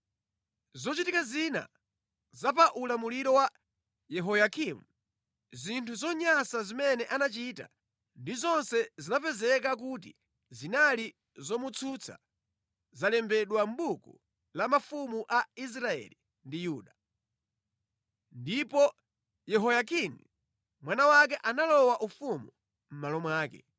Zochitika zina za pa ulamuliro wa Yehoyakimu, zinthu zonyansa zimene anachita ndi zonse zinapezeka kuti zinali zomutsutsa zalembedwa mʼbuku la mafumu a Israeli ndi Yuda. Ndipo Yehoyakini mwana wake analowa ufumu mʼmalo mwake.